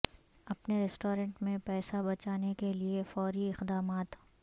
اپنے ریسٹورانٹ میں پیسہ بچانے کے لئے فوری اقدامات